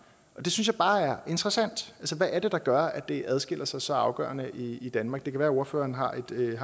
det synes jeg bare er interessant altså hvad er det der gør at det adskiller sig så afgørende i danmark det kan være ordføreren har